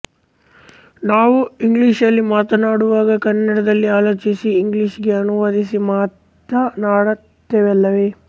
ನಾವು ಇಂಗ್ಲೀಷ್ನಲ್ಲಿ ಮಾತನಾಡುವಾಗ ಕನ್ನಡದಲ್ಲಿ ಆಲೋಚಿಸಿ ಇಂಗ್ಲೀಷ್ ಗೆ ಅನುವಾದಿಸಿ ಮಾತನಾಡುತ್ತೇವಲ್ಲವೇ